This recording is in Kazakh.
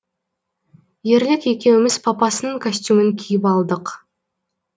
ерлік екеуміз папасының костюмін киіп алдық